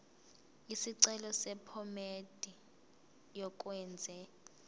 isicelo sephomedi yokwenze